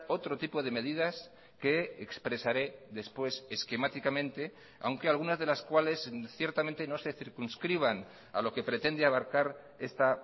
otro tipo de medidas que expresaré después esquemáticamente aunque algunas de las cuales ciertamente no se circunscriban a lo que pretende abarcar esta